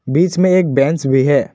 बीच में एक बेंच भी है।